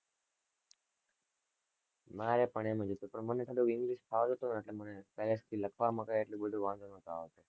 મારે પણ એમ જ હતું, પણ મને થોડું english ફાવતું તું ને એટલે મને પહેલેથી લખવામાં કઈ એટલો બધો વાંધો નો'તો આવતો.